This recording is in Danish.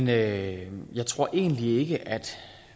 jeg jeg tror egentlig ikke at